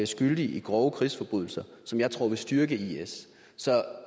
skyldig i grove krigsforbrydelser som jeg tror vil styrke is så